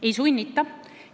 Ei sunnita.